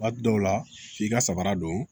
Waati dɔw la f'i ka samara don